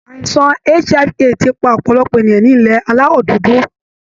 àìsàn HIV AIDS ti pa ọ̀pọ̀lọpọ̀ ènìyàn ní ilẹ̀ Aláwọ̀ dúdú